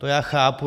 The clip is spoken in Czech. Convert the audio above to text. To já chápu.